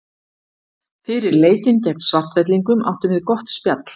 Fyrir leikinn gegn Svartfellingum áttum við gott spjall.